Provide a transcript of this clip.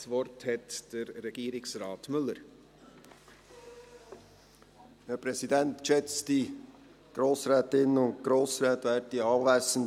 Das Wort hat Regierungsrat Philippe Müller, Sicherheitsdirektor.